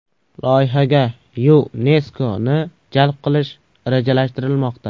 Loyihaga YuNESKOni jalb qilish rejalashtirilmoqda.